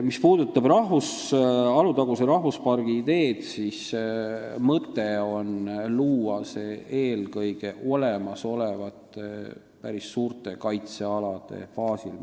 Mis puudutab Alutaguse rahvuspargi ideed, siis mõte on luua see eelkõige juba olemasolevate päris suurte kaitsealade baasil.